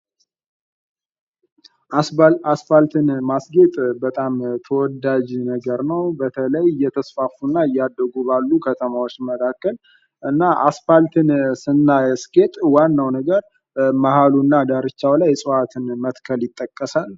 አስፋልትን ማስጌጥ በጣም ተወዳጅ ነገር ነው። በተለይ እየተስፋፉና እያደጉ ባሉ ከተማዎች መካከል እና አስፓልትን ስናስጌጥ ዋናው ነገር መሃሉና ዳርቻው ላይ እፅዋትን መትከል ይጠቀሳል ።